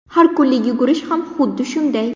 Har kunlik yugurish ham xuddi shunday.